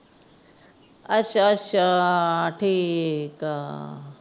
ਅੱਛਾ ਅੱਛਾ ਠੀਕ ਆ।